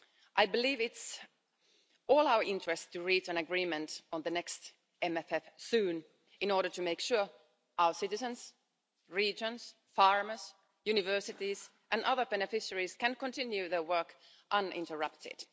I believe it's in all our interest to reach an agreement on the next MFF soon in order to make sure our citizens, regions, farmers, universities and other beneficiaries can continue their work uninterrupted.